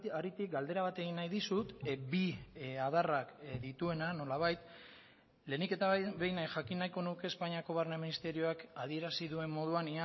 haritik galdera bat egin nahi dizut bi adarrak dituena nolabait lehenik eta behin jakin nahiko nuke espainiako barne ministerioak adierazi duen moduan